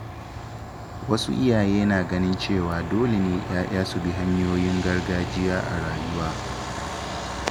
Wasu iyaye suna ganin cewa dole ne ‘ya’ya su bi hanyoyin gargajiya a rayuwa.